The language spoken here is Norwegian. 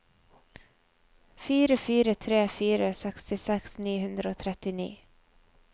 fire fire tre fire sekstiseks ni hundre og trettini